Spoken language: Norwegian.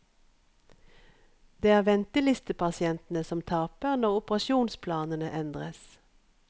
Det er ventelistepasientene som taper når operasjonsplanene endres.